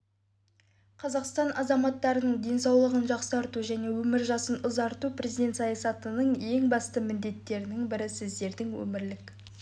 қазақстан азаматтарының денсаулығын жақсарту және өмір жасын ұзарту президент саясатының ең басты міндеттерінің бірі сіздердің өмірлік